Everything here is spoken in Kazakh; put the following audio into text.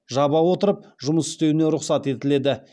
жаба отырып жұмыс істеуіне рұқсат етіледі